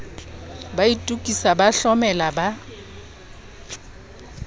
ba itokisa ba hlomela ba